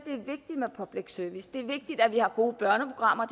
at public service det er vigtigt at vi har gode børneprogrammer